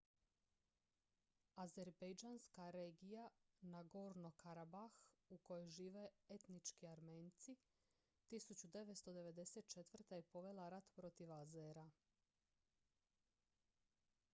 azerbejdžanska regija nagorno-karabah u kojoj žive etnički armenci 1994. je povela rat protiv azera